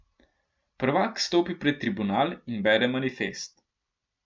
Prvak stopi pred tribunal in bere manifest.